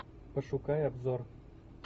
пошукай обзор